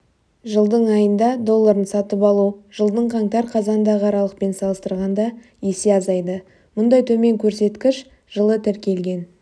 жылдың айында долларын сатып алу жылдың қаңтар-қазандағы аралықпен салыстырғанда есе азайды мұндай төмен көрсеткіш жылы тіркелген